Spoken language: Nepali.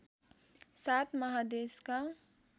सात महादेशका